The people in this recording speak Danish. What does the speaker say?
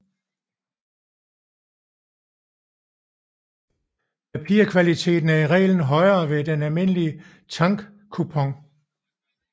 Papirkvaliteten er i reglen højere end ved en almindelig tankoubon